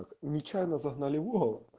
нечаянно загнали в угол